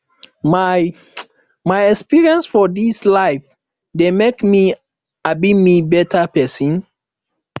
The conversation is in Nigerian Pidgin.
my my experience for dis life dey make um me beta pesin